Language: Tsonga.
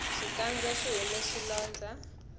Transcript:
xikandza xihume swilondza